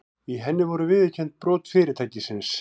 Í henni voru viðurkennd brot fyrirtækisins